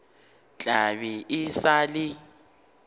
tla be e sa le